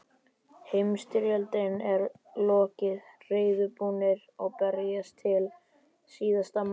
Heimsstyrjöldinni er lokið, reiðubúnir að berjast til síðasta manns.